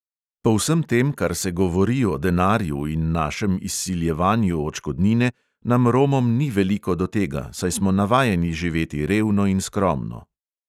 Po vsem tem, kar se govori o denarju in našem izsiljevanju odškodnine, nam romom ni veliko do tega, saj smo navajeni živeti revno in skromno.